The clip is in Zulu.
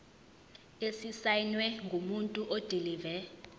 esisayinwe ngumuntu odilive